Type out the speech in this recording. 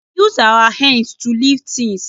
We use our hands to lift things